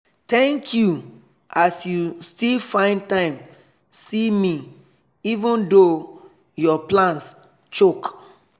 thank you as you still find time see me even though your plans choke.